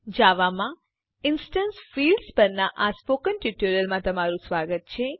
જાવામાં instance fields પરનાં spoken ટ્યુટોરીયલમાં સ્વાગત છે